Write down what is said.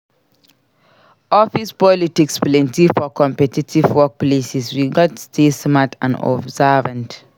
Office politics plenty for competitive workplaces; we gats stay smart and observant.